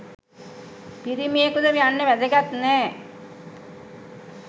පිරිමියකුද යන්න වැදගත් නෑ